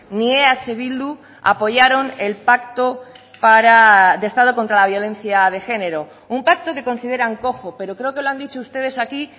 ni eh bildu apoyaron el pacto para de estado contra la violencia de género un pacto que consideran cojo pero creo que lo han dicho ustedes aquí